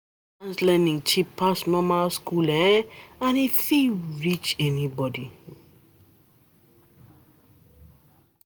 Distance learning cheap pass normal school and e no fit reach anybody.